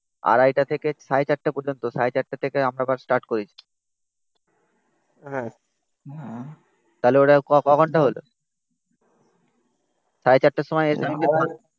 আড়াইটা থেকে সাড়ে চারটে পর্যন্ত. সাড়ে চারটে থেকে আমরা বাস স্টার্ট করেছি হ্যাঁ উম তাহলে ওটা ক ঘন্টা হলো সাড়ে চারটের সময় এসে